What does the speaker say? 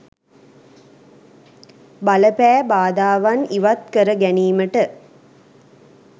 බල පෑ බාධාවන් ඉවත් කර ගැනීමට